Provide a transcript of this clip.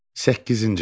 Səkkizinci hissə.